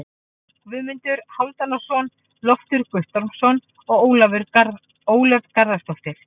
Guðmundur Hálfdanarson, Loftur Guttormsson og Ólöf Garðarsdóttir.